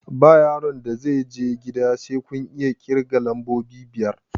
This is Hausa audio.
Ba yaron da zai je gida sai kun iya ƙirga lambobi biyar!